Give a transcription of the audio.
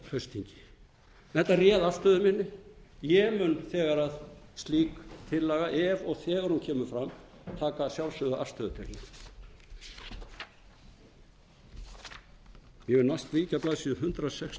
á haustþingi þetta réð afstöðu minni ég mun þegar slík tillaga ef og þegar hún kemur fram taka að sjálfsögðu afstöðu til hennar ég vil víkja að blaðsíðu